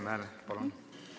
Mart Helme, palun!